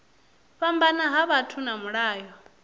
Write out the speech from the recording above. fhambana ha vhathu na mulayo